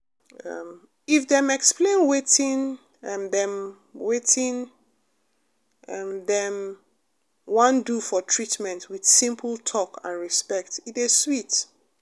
um if dem explain wetin um dem wetin um dem um wan do for treatment with simple talk and respect e dey sweet.